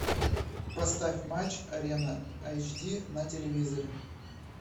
поставь матч арена эйч ди на телевизоре